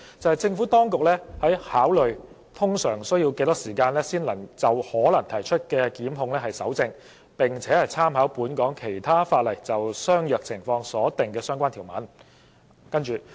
政府當局表示已考慮通常需要多少時間就可能提出的檢控蒐證，並參考本港其他法例就相若情況所訂的相關條文。